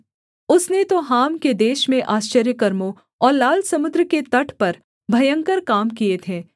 उसने तो हाम के देश में आश्चर्यकर्मों और लाल समुद्र के तट पर भयंकर काम किए थे